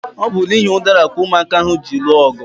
Ọ bu n'ihi udara ka ụmụaka ahụ ji lụọ ọgụ